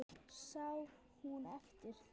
Sá hún eftir því?